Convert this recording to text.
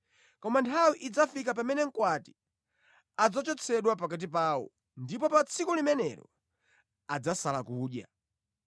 Koma nthawi idzafika pamene mkwati adzachotsedwa pakati pawo, ndipo pa tsiku limenelo adzasala kudya.